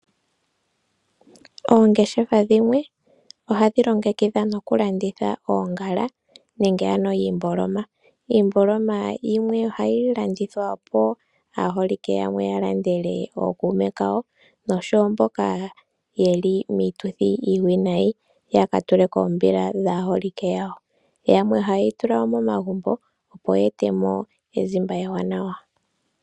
Oongeshefa dhimwe ohadhi longekidha nokulanditha oongala nenge ano iimboloma. Iimboloma yimwe ohayi landithwa po aaholike yamwe yalandele ookuume kawo nosho wo mboka yeli miituthi iiwinayi yaka tule koombila dhaaholike yawo, yamwe ohaye dhi tula momagumbo opo ya etemo ezimba ewanawa.